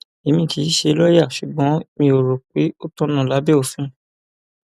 èmi kì í ṣe lọọyà ṣùgbọn mi ò rò pé ó tọnà lábẹ òfin